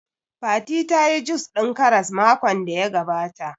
Fati tayi jus ɗin Karas makon da ya gabata